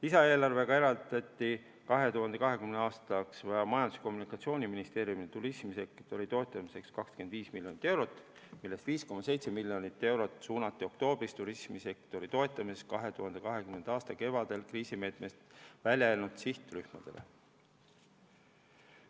Lisaeelarvega eraldati 2020. aastaks Majandus- ja Kommunikatsiooniministeeriumile turismisektori toetamiseks 25 miljonit eurot, millest 5,7 miljonit eurot suunati oktoobris turismisektori toetamiseks 2020. aasta kevadel kriisimeetmest välja jäänud sihtrühmadele.